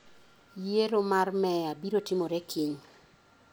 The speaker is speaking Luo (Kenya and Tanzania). Yiero mar meya biro timore kiny.